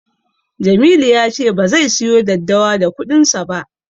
Jamilu ya ce bazai siyo daddawa da kuɗinsa ba.